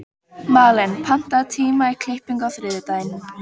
Malen, pantaðu tíma í klippingu á þriðjudaginn.